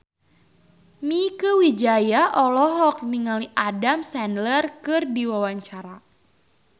Mieke Wijaya olohok ningali Adam Sandler keur diwawancara